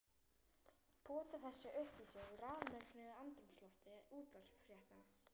Pota þessu upp í sig í rafmögnuðu andrúmslofti útvarpsfréttanna.